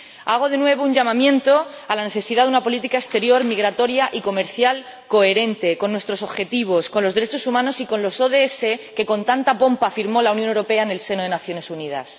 Hago de nuevo un llamamiento sobre la necesidad de una política exterior migratoria y comercial coherente con nuestros objetivos, con los derechos humanos y con los ODS, que con tanta pompa firmó la Unión Europea en el seno de las Naciones Unidas.